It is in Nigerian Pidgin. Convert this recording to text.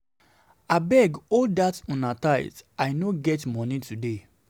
Abeg hold dat una una tithe I no get money today